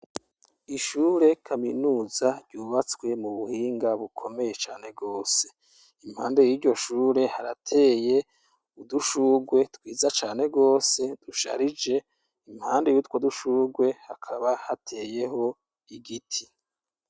Ishure kaminuza ryubatswe mu buhinga bukomeye cane rwose, impande y'iryo shure harateye udushurwe twiza cane rwose dusharije, impande y'utwo dushurwe hakaba hateyeho igiti.